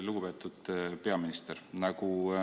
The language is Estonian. Lugupeetud peaminister!